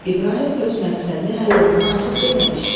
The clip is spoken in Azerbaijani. İbrahim öz məqsədini hələ oğluna açıb deməmişdi.